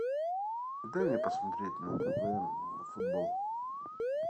дай мне посмотреть на тв футбол